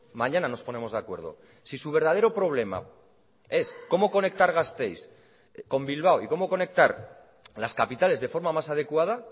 mañana nos ponemos de acuerdo si su verdadero problema es cómo conectar gasteiz con bilbao y cómo conectar las capitales de forma más adecuada